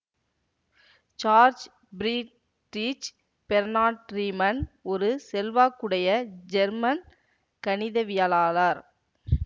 George Friedrich Bernhard Riemann ஒரு செல்வாக்குடைய German கணிதவியலாளர்